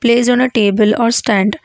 placed on a table or stand.